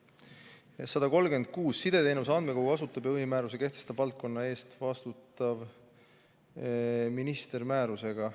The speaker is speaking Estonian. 136: "Sideteenuse andmekogu asutab ja põhimääruse kehtestab valdkonna eest vastutav minister määrusega.